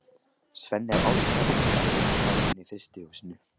Svenni er alveg sáttur við að sleppa starfinu í frystihúsinu.